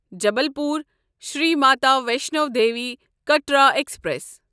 Jabalpur Shri Mata Vaishno Devi Katra express